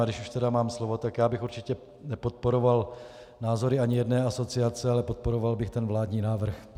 A když už tedy mám slovo, tak já bych určitě nepodporoval názory ani jedné asociace, ale podporoval bych ten vládní návrh.